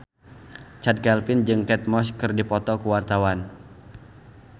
Chand Kelvin jeung Kate Moss keur dipoto ku wartawan